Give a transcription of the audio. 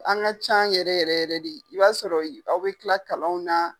An ka can yɛrɛ yɛrɛ yɛrɛ de i b'a sɔrɔ aw bɛ tila kalanw na.